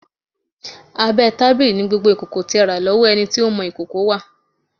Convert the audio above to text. Abẹ́ tábìlì ni gbogbo ìkòkò tí ẹ rà lọ́wọ́ ẹni tí ń mọ ìkòkò wà.